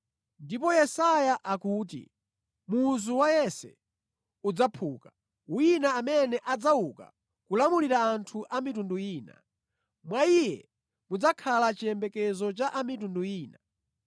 Ndiponso Yesaya akuti, “Muzu wa Yese udzaphuka, wina amene adzauka kulamulira anthu a mitundu ina; mwa Iye mudzakhala chiyembekezo cha a mitundu ina.”